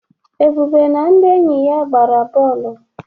Ebube na ndị enyi ya gbara bọọlụ.